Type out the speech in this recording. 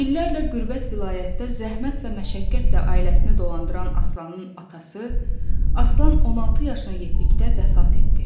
İllərlə qürbət vilayətdə zəhmət və məşəqqətlə ailəsini dolandıran Aslanın atası Aslan 16 yaşına yetdikdə vəfat etdi.